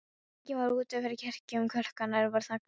Enginn var úti fyrir kirkjunni, klukkurnar voru þagnaðar.